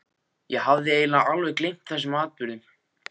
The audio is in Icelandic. Ég hafði eiginlega alveg gleymt þessum atburðum.